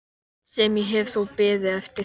Sem ég hef þó beðið eftir.